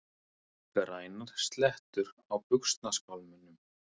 Grænar slettur á buxnaskálmunum!